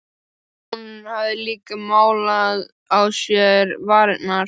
Hún hafði líka málað á sér varirnar.